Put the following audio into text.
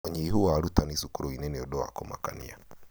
Ũnyihũ wa arutanĩ cukuru-inĩ nĩ ũndũ wa kũmakania.